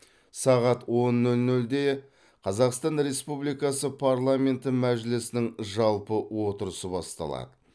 сағат он нөл нөлде қазақстан республикасы парламенті мәжілісінің жалпы отырысы басталады